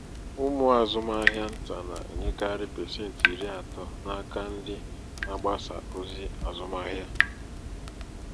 umụ azụmahịa ntà na-enyekarị pasenti iri atọ n'aka ndị na-agbasa ozi azụmahịa.